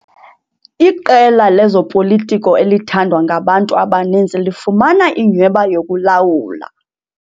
Iqela lezopolitiko elithandwa ngabantu abaninzi lifumana inyhweba yokulawula.